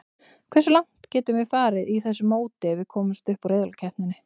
Hversu langt getum við farið í þessu móti ef við komumst upp úr riðlakeppninni?